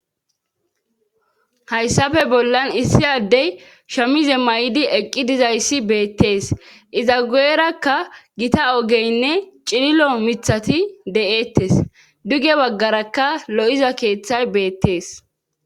Hayssafe bollan issi addey shamize may7di eqqi dizayssi beettees iza gu7erakka gita ogeynne cililo mithati de7eettes duge baggarakka lo7iza keeththay beettees.